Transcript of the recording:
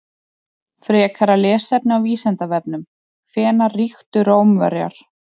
Frekara lesefni á Vísindavefnum: Hvenær ríktu Rómverjar?